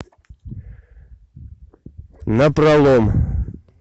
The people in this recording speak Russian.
напролом